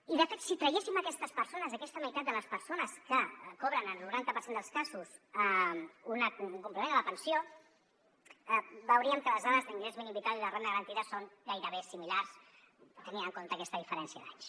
i de fet si traguéssim aquestes persones aquesta meitat de les persones que cobren en el noranta per cent dels casos un complement a la pensió veuríem que les dades d’ingrés mínim vital i de la renda garantida són gairebé similars tenint en compte aquesta diferència d’anys